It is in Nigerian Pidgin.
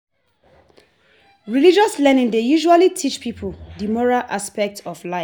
Religious learning dey usually teach pipo di moral aspect of life